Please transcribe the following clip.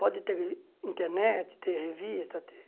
Pode ter internet, ter revista, ter...